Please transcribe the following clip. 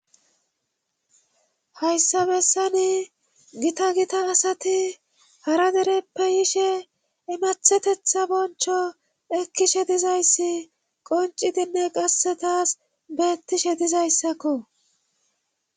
Hayssabessani gita gita asati hara dereppeyishe imathetetha boncho ekkishe dizayssi qoncidinne qasse taas beettishe dizayssakko.